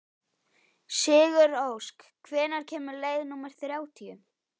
Sigurósk, hvenær kemur leið númer þrjátíu?